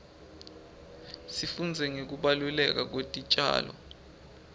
sifundza ngekubaluleka kwetitjalo